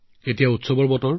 এতিয়া উৎসৱৰ বতৰো আহিল